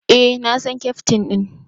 Eh, na san Keftin din.